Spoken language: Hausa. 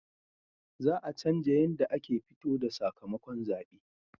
Za a canja yanda ake fito da sakamakon zabe